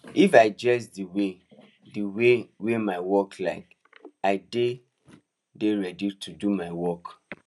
if i dress di way di way wey my work like i dey dey ready to do my work